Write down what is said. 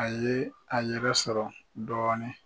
A ye a yɛrɛ sɔrɔ dɔɔnin